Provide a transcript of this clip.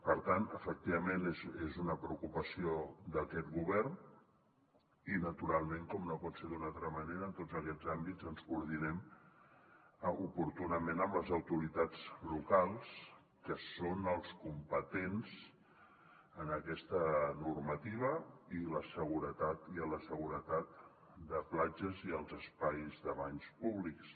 per tant efectivament és una preocupació d’aquest govern i naturalment com no pot ser d’una altra manera en tots aquests àmbits ens coordinem oportunament amb les autoritats locals que són els competents en aquesta normativa i en la seguretat de platges i els espais de banys públics